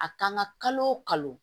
A kan ka kalo o kalo